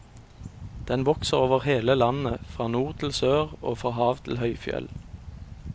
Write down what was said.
Den vokser over hele landet, fra nord til sør og fra hav til høyfjell.